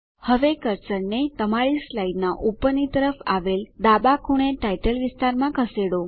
હવે કર્સરને તમારી સ્લાઇડનાં ઉપરની તરફ આવેલ ડાબા ખૂણે ટાઇટલ વિસ્તારમાં ખસેડો